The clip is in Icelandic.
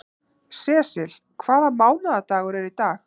Sesil, hvaða mánaðardagur er í dag?